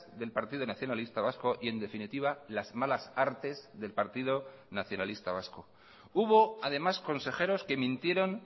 del partido nacionalista vasco y en definitiva las malas artes del partido nacionalista vasco hubo además consejeros que mintieron